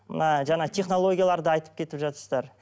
мына жаңа технологияларды айтып кетіп жатырсыздар